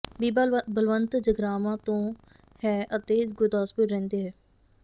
ਬੀਬਾ ਬਲਵੰਤ ਜਗਰਾਵਾਂ ਤੋਂ ਹੈ ਅਤੇ ਗੁਰਦਾਸਪੁਰ ਰਹਿੰਦਾ ਹੈ